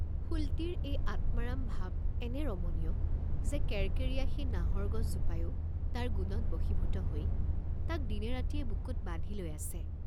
ফুলটিৰ এই আত্মাৰাম ভাৱ এনে ৰমনীয়, যে কেৰকেৰীয়া সেই নাহৰ গছ জোপায়ো তাৰ গুণত বশীভূত হৈ তাক দিনে ৰাতিয়ে বুকুত বান্ধি লৈ আছে।